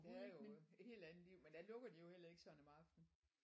Det er jo et helt andet liv men der lukker de jo heller ikke sådan om aftenen